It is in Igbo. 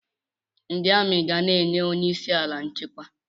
Ndị amị ga na-enye onyeisi ala nchekwa.